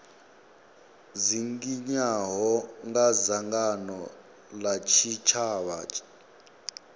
dzinginywaho nga dzangano la tshitshavha